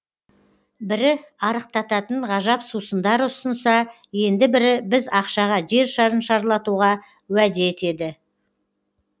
бірі арықтататын ғажап сусындар ұсынса енді бірі аз ақшаға жер шарын шарлатуға уәде етеді